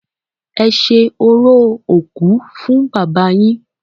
Ẹ ṣe orò òkú fún Bàbá yín!